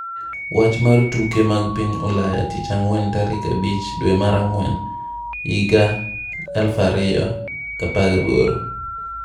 Wach mar tuke mag piny Ulaya tich ang'wen tarik 05.04.2018